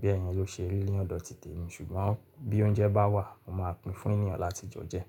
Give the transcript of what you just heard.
Bẹ́ẹ̀ yẹn ló ṣe ní ọ̀dọ̀ tìtẹ̀ mi, ṣùgbọ́n bí oúnjẹ bá wà mo máa pín fún ènìyàn láti jẹun jẹ.